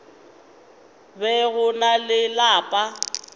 be go na le lapa